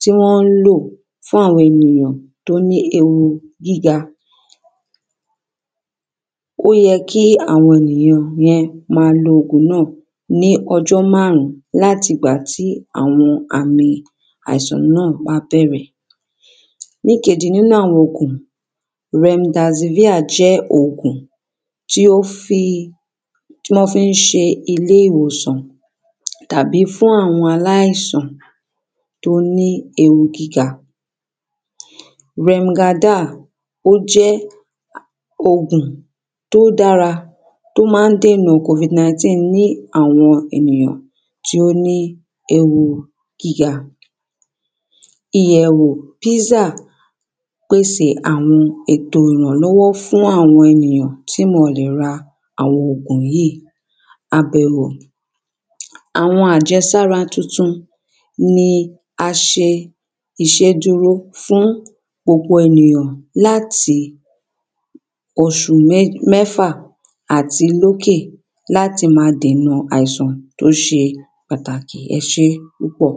tí wọ́n lo fún àwọn fún àwọn ènìyàn tó ní ewu gíga ó yẹ kí àwọn ènìyàn yẹn máa lo ògùn náà ní ọjọ́ márùn-ún láti ọjọ́ àwọn àmì àìsàn náà bá bẹ̀rẹ̀ ní ìkejì nínú àwọn ògùn, Remkazinia jẹ́ ògùn tí ó fí tí wọ́n fi ń ṣe ilé ìwòsàn tàbí fún àwọn aláìsàn tó ní ewu gíga remgadal ó jẹ́ ògùn tó dára tó máa ń dènà COVID 19 ní àwọn ènìyàn tó ní ewu gíga ìyẹ̀wò pfizer pèsè àwọn ètò ìrànlọ́wọ́ fún àwọn ènìyàn tí wọ́n ò lè ra àwọn ògùn yìí, àbẹ̀wò àwọn àjẹsára tuntun ni aṣẹ iṣẹ́ dúró fún ọ̀pọ̀ ènìyàn láti oṣù mẹ́fà àti lókè láti máa dènà àìsàn tó ṣe pàtàkì ẹ ṣé púpọ̀.